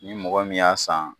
Ni mɔgɔ y'a san